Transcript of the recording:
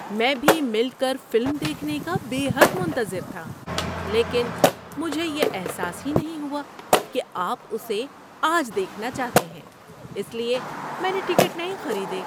میں بھی مل کر فلم دیکھنے کا بے حد منتظر تھا، لیکن مجھے یہ احساس ہی نہیں ہوا کہ آپ اسے آج دیکھنا چاہتے ہیں، اس لیے میں نے ٹکٹ نہیں خریدے۔